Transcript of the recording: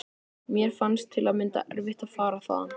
Mér fannst til að mynda erfitt að fara þaðan.